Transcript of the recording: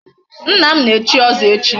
Nna m ga-echi ọzọ echi.